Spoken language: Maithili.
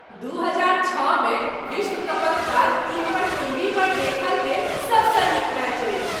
दू हजार छओ मे विश्व कपक बाद ई हमर टीवी पर देखल गेल सबसँ नीक मैच अछि।